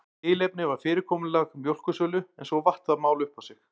Tilefnið var fyrirkomulag mjólkursölu en svo vatt það mál upp á sig.